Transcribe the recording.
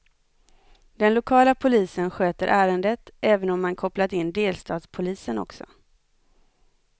Den lokala polisen sköter ärendet, även om man kopplat in delstatspolisen också.